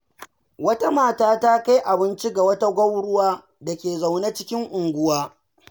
Wata mata ta kai abinci ga wata gwauruwa da ke zaune a cikin unguwa.